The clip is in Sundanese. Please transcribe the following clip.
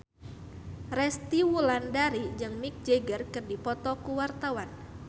Resty Wulandari jeung Mick Jagger keur dipoto ku wartawan